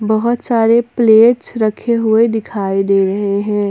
बहोत सारे प्लेट्स रखे हुए दिखाई दे रहे हैं।